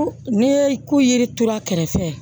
Ne ko yiri tura kɛrɛfɛ